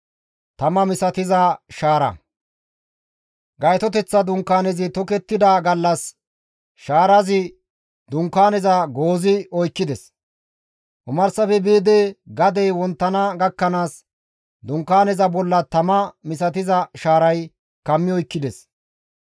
Gaytoteththa Dunkaanezi tokettida gallas shaarazi Dunkaaneza goozi oykkides; omarsafe biidi gadey wonttana gakkanaas Dunkaaneza bolla tama misatiza shaaray kammi oykkides.